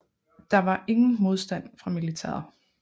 Der var ingen modstand fra militæret